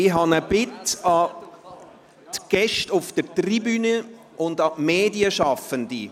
Ich habe eine Bitte an die Gäste auf der Tribüne und an die Medienschaffenden: